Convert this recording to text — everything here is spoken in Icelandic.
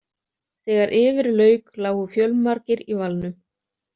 Þegar yfir lauk lágu fjölmargir í valnum.